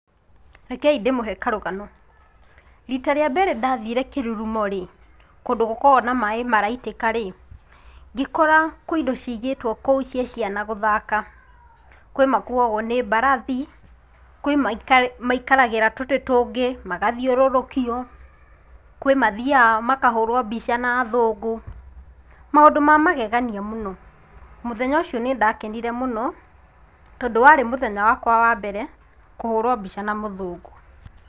Rekei ndĩmũhe karũgano. Rita rĩa mbere ndathire kĩrurumo rĩ, kũndũ gũkoragwo na maĩ maraitĩka rĩ, ngĩkora kwĩ indo ciigĩtwo kũu cia ciana gũthaka, kwĩ makuagwo nĩ mbarathi, kwĩ maika maikaragĩra tũtĩ tũngĩ magathiũrũrũkio, kwĩ mathiaga makahũrwo mbica na athũngũ, maũndũ ma magegania mũno, mũthenya ũcio nĩndakenire mũno tondũ warĩ mũthenya wakwa wa mbere kũhũrwo mbica na mũthũngũ.